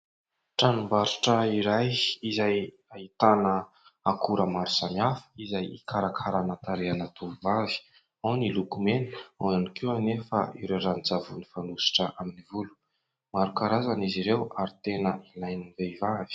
Tranombarotra iray izay ahitana akora maro samihafa izay hikarakarana tarehina tovovavy ao ny lokomena, ao ny koa anefa ireo ranon-tsavony fanosotra amin'ny volo ; maro karazana izy ireo ary tena ilain'ny vehivavy.